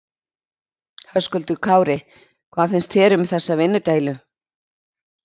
Höskuldur Kári: Hvað finnst þér um þessa vinnudeilu?